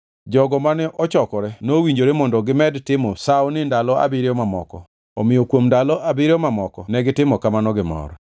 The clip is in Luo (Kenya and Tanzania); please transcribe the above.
Jogo mane ochokore nowinjore mondo gimed timo sawoni ndalo abiriyo mamoko, omiyo kuom ndalo abiriyo mamoko negitimo kamano gi mor.